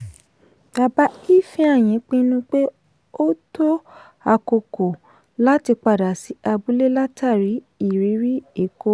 bàbá ifeanyi pinnu pé ó tó àkókò láti padà sí abúlé látàrí ìrírí èkó.